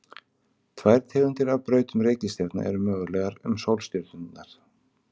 tvær tegundir af brautum reikistjarna eru mögulegar um sólstjörnurnar